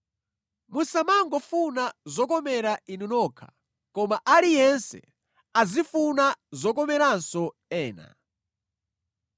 Musamangofuna zokomera inu nokha koma aliyense azifuna zokomeranso ena.